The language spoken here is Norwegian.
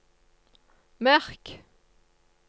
merk